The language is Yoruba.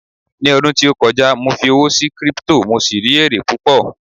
ní ọdún tí o kọjá, mo fi owó sí crypto, mo sì rí ere púpò